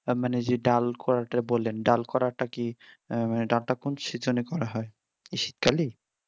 মানে যে ডাল করাটা বললেন ডাল করাটা কি ডাল টা কোন সিজনে করা হয় এই শীতকালে